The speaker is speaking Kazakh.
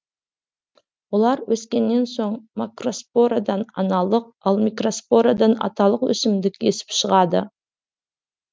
олар өскеннен соң макроспорадан аналық ал микроспорадан аталық өсімдік есіп шығады